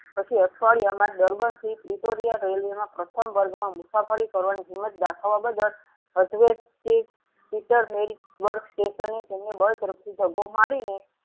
પછી અઠવાડિયામાં દર્બન સિંહ પરુટોરિયા રેલ્વેના પ્રથમ વર્ગ માં મુસાફરી કરવાની હિંમત દાખવવા બદલ peeter station ને તેમને બળ ઝડપથી ધકો મારીને